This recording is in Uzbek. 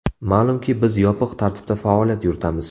Ma’lumki, biz yopiq tartibda faoliyat yuritamiz.